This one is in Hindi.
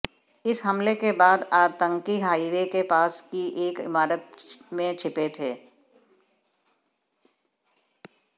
इस हमले के बाद आतंकी हाईवे के पास की एक इमारत में छिपे थे